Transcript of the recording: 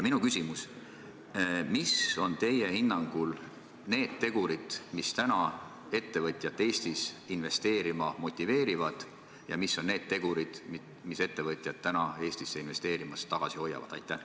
Mis on teie hinnangul need tegurid, mis ettevõtjat Eestisse investeerima motiveerivad, ja mis on need tegurid, mis ettevõtjat Eestisse investeerimast tagasi hoiavad?